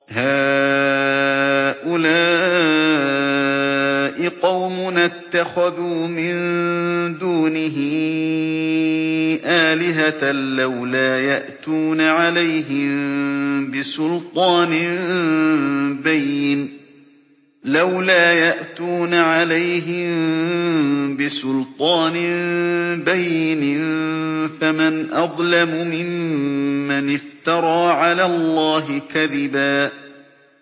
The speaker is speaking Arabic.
هَٰؤُلَاءِ قَوْمُنَا اتَّخَذُوا مِن دُونِهِ آلِهَةً ۖ لَّوْلَا يَأْتُونَ عَلَيْهِم بِسُلْطَانٍ بَيِّنٍ ۖ فَمَنْ أَظْلَمُ مِمَّنِ افْتَرَىٰ عَلَى اللَّهِ كَذِبًا